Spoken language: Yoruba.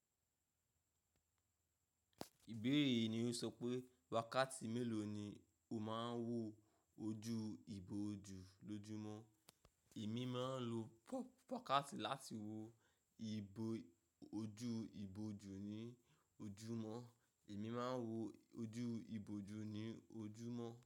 Ìbéèrè yìí ni ó sọ pé wakati mélòó ni o máa ń wo ojú ìbòjú lójúmọ́? Èmi máa ń lo pokati láti wo ojú ìbòjú ní ojúmọ́. Èmi máa ń wo ojú ìbòjú ní ojúmọ́.